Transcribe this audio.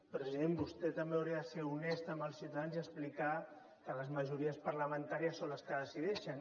president vostè també hauria de ser honest amb els ciutadans i explicar que les majories parlamentàries són les que decideixen